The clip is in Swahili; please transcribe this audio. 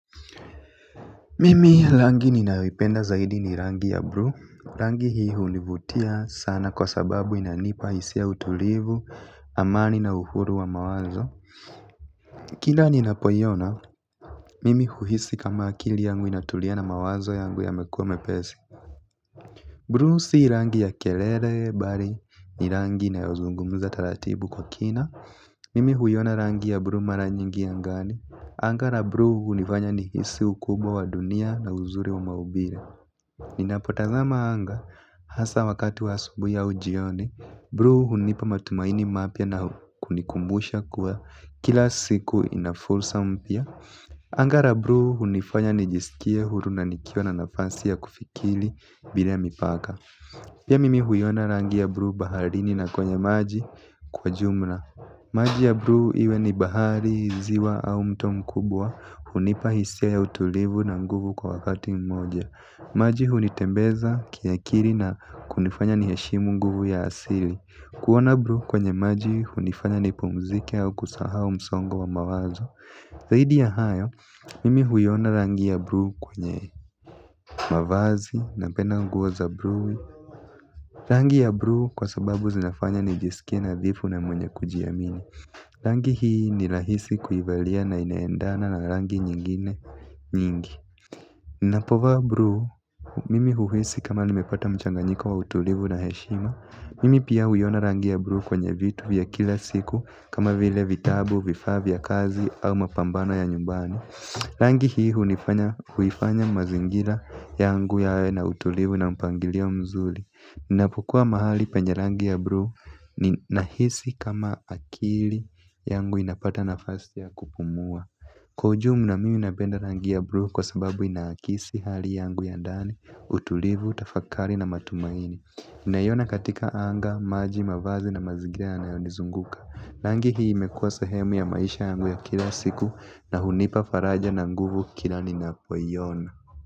Mimi langi ninayoipenda zaidi ni rangi ya bru. Rangi hii hunivutia sana kwa sababu inanipa hisia ya utulivu, amani na uhuru wa mawazo. Kila ninapoiona, mimi huhisi kama akili yangu inatulia na mawazo yangu yamekua mepesi. Bru si rangi ya kelere, bali, ni rangi inayozungumza taratibu kwa kina. Mimi huiona rangi ya bru mara nyingi angani. Anga ra bru hunifanya nihisi ukubwa wa dunia na uzuri wa maubire. Ninapotazama anga hasa wakati wa asubui au jioni bru hunipa matumaini mapya na kunikumbusha kuwa kila siku ina fursa mpya. Anga ra bru hunifanya nijisikie huru na nikiwa na nafasi ya kufikili bila mipaka. Pia mimi huiona rangi ya bru baharini na kwenye maji kwa jumla. Maji ya bru iwe ni bahari ziwa au mto mkubwa hunipa hisia ya utulivu na nguvu kwa wakati mmoja. Maji hunitembeza kiakiri na kunifanya niheshimu nguvu ya asili. Kuona bru kwenye maji hunifanya nipumzike au kusahau msongo wa mawazo. Zaidi ya hayo, mimi huiona rangi ya bru kwenye mavazi napenda nguo za bru. Rangi ya bru kwa sababu zinafanya nijisikie nadhifu na mwenye kujiamini. Rangi hii ni lahisi kuivalia na inaendana na rangi nyingine nyingi. Napovaa bruu, mimi huhisi kama nimepata mchanganyiko wa utulivu na heshima. Mimi pia huiona rangi ya bruu kwenye vitu vya kila siku kama vile vitabu, vifaa vya kazi au mapambano ya nyumbani. Rangi hii huifanya mazingira yangu yawe na utulivu na mpangilio mzuli ninapokua mahali penye rangi ya bru nahisi kama akili yangu inapata nafasi ya kupumua. Kwa ujumla mimi napenda rangi ya bru kwa sababu inaakisi hali yangu ya ndani, utulivu, tafakari na matumaini ninaiona katika anga, maji, mavazi na mazigira yanayonizunguka. Langi hii imekuwa sehemu ya maisha yangu ya kila siku na hunipa faraja na nguvu kila ninapoiona.